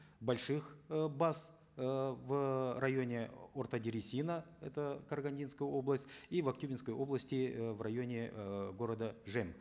больших э баз эээ в районе орта дересина это карагандинская область и в актюбинской области э в районе э города жем